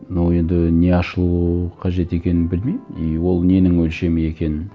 но енді не ашылу қажет екенін білмеймін и ол ненің өлшемі екенін